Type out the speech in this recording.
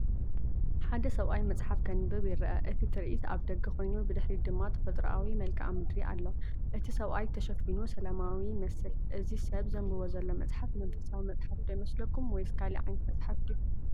ሓደ ሰብኣይ መጽሓፍ ከንብብ ይርአ። እቲ ትርኢት ኣብ ደገ ኮይኑ ብድሕሪት ድማ ተፈጥሮኣዊ መልክዓ ምድሪ ኣሎ። እቲ ሰብኣይ ተሸፊኑ ሰላማዊ ይመስል። እዚ ሰብ ዘንብቦ ዘሎ መጽሓፍ መንፈሳዊ መጽሓፍ ዶ ይመስለኩም? ወይስ ካልእ ዓይነት መጽሓፍ ድዩ?